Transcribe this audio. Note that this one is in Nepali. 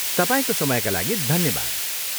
तपाईँको समयका लागि धन्यवाद।